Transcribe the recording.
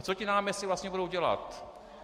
A co ti náměstci vlastně budou dělat?